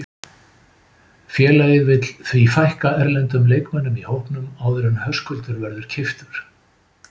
Félagið vill því fækka erlendum leikmönnum í hópnum áður en Höskuldur verður keyptur.